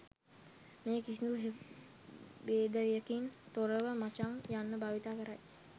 මේ කිසිදු භේදයකින් තොරව මචං යන්න භාවිත කරයි